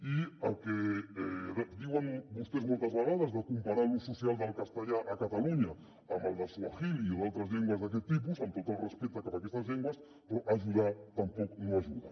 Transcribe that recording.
i el que diuen vostès moltes vegades de comparar l’ús social del castellà a catalunya amb el del swahili o d’altres llengües d’aquest tipus amb tot el respecte cap a aquestes llengües però ajudar tampoc no ajuda